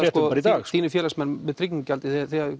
þínir félagsmenn með tryggingagjaldið